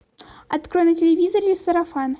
открой на телевизоре сарафан